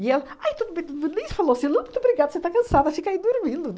E ela aí tudo bem falou assim, não, muito obrigada, você está cansada, fica aí dormindo.